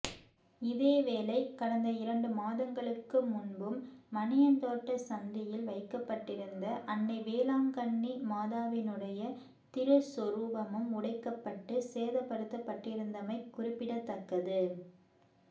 இதேவேளை கடந்த இரண்டு மாதங்களுக்கு முன்பும் மணியந்தோட்டச் சந்தியில் வைக்கப்பட்டிருந்த அன்னை வேளாங்கண்ணி மாதாவினுடைய திருச்சொரூபமும் உடைக்கப்பட்டு சேதப்படுத்தப்பட்டிருந்தமை குறிப்பிடத்தக்கது